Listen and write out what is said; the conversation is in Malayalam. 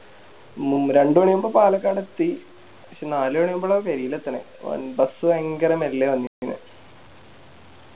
മു രണ്ട് മണിയായപ്പോ പാലക്കാടെത്തി പക്ഷെ നാല് കഴിയുമ്പ പേരില് എത്തണേ അഹ് Bus ഭയങ്കര മെല്ലെയ വന്നിക്കിണെ